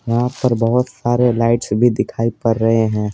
यहाँ पर बहोत सारे लाइट्स भी दिखाई पर रहे हैं।